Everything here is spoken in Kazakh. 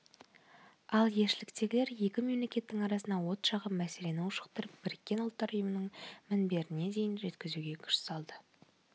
ал елшіліктегілер екі мемлекеттің арасына от жағып мәселені ушықтырып біріккен ұлттар ұйымының мінберіне дейін жеткізуге күш салды